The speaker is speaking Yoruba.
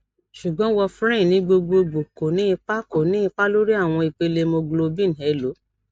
sugbon warferrin ni gbogbogbo ko ni ipa ko ni ipa lori awọn ipele hemoglobin elo